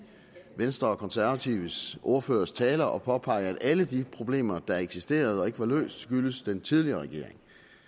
venstre og konservatives ordførertaler at påpege at alle de problemer der eksisterede og ikke var løst skyldtes den tidligere regering